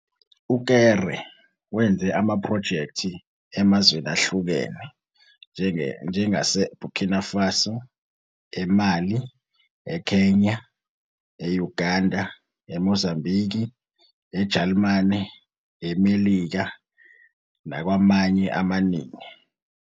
UKéré wenze amaphrojekthi emazweni ahlukene njengaseBurkina Faso, eMali, eKenya, eUganda, eMozambiki, eJalimane, eMelika nakwamanye amaningi.